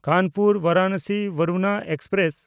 ᱠᱟᱱᱯᱩᱨ–ᱵᱟᱨᱟᱱᱚᱥᱤ ᱵᱟᱨᱩᱱᱟ express